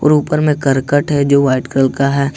और ऊपर में करकट है जो वाइट कलर का है।